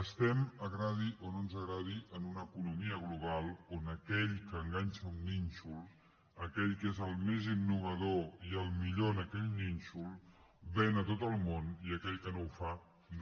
estem ens agradi o no ens agradi en una economia global on aquell que enganxa un nínxol aquell que és el més innovador i el millor en aquell nínxol ven a tot el món i aquell que no ho fa no